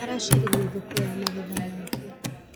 Aracaririe thoko ya magetha make.